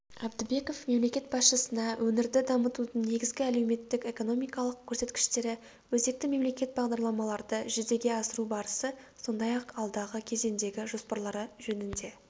әбдібеков мемлекет басшысына өңірді дамытудың негізгі әлеуметтік-экономикалық көрсеткіштері өзекті мемлекеттік бағдарламаларды жүзеге асыру барысы сондай-ақ алдағы кезеңдегі жоспарлары жөнінде